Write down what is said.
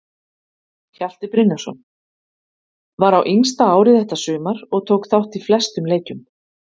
Hjalti Brynjarsson: Var á yngsta ári þetta sumar og tók þátt í flestum leikjum.